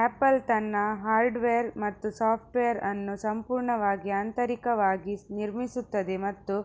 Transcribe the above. apple ತನ್ನ hardware ಮತ್ತು software ಅನ್ನು ಸಂಪೂರ್ಣವಾಗಿ ಆಂತರಿಕವಾಗಿ ನಿರ್ಮಿಸುತ್ತದೆ ಮತ್ತು